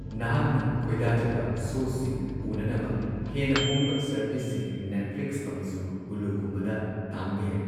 ꯅꯍꯥꯛꯅ ꯈꯣꯏꯗꯥꯖꯕ ꯁꯣ ꯁꯤꯡ ꯎꯅꯅꯕ ꯍꯦꯟꯅ ꯍꯣꯡꯕ ꯁꯔꯚꯤꯁꯁꯤꯡ, ꯅꯦꯠꯐ꯭ꯂꯤꯛꯁ ꯑꯃꯁꯨꯡ ꯍꯨꯂꯨꯒꯨꯝꯕꯗ, ꯇꯥꯡꯕ ꯌꯥꯏ꯫